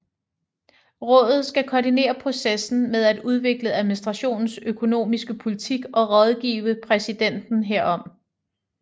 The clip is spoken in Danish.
Rådet skal koordinere processen med at udvikle administrationens økonomiske politik og rådgive præsidenten herom